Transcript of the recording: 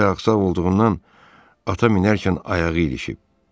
Bəlkə də axsaq olduğundan ata minərkən ayağı ilişib.